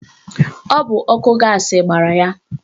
Ọ bụ ọkụ gaasị gbara ya.